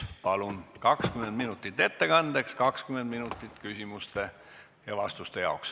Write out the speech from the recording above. Teil on 20 minutit ettekandeks ning 20 minutit küsimuste ja vastuste jaoks.